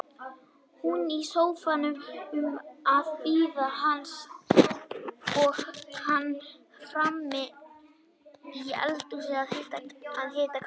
Hún í sófanum að bíða hans og hann frammi í eldhúsi að hita kaffi.